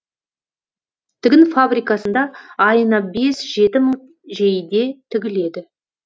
тігін фабрикасында айына бес жеті мың жейде тігіледі